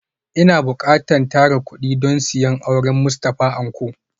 Ina bukatan tara kudi don siyan auren Mustafa Anko